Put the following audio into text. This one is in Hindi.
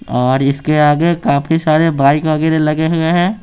और इसके आगे काफी सारे बाइक वगैरह लगे हुए हैं।